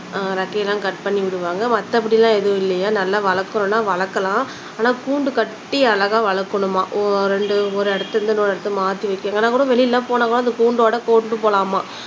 அஹ் ரெக்கைய எல்லாம் கட் பண்ணி விடுவாங்க மத்தபடி எல்லாம் எதும் இல்லையாம் நல்லா வளக்கணும்னா வளக்கலாம் ஆனா கூண்டு கட்டி அழகா வளக்கணுமாம் ஓர் ரெண்டு ஒரு இடத்துல இருந்து இன்னொரு இடத்துல மாத்தி வைக்க இங்கே கூட வெளில எல்லாம் போனாகூட இந்த கூண்டோட கொண்டுட்டு போலாமாம்.